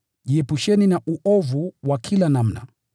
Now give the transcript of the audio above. Jiepusheni na uovu wa kila namna.